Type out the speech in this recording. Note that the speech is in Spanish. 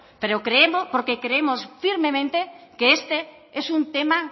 porque creemos firmemente que este es un tema